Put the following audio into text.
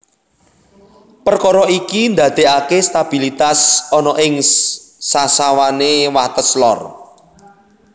Perkara iki ndaddekake stabilitas ana ing sasawane wates lor